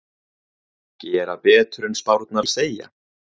Gera betur en spárnar segja